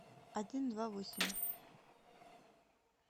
один два восемь